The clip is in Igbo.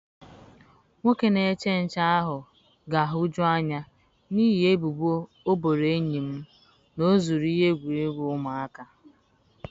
Nwoke na-eche nche ahụ ga-ahụju anya n'ihi ebubo ọ boro enyi m na o zuru ihe egwuregwu ụmụaka.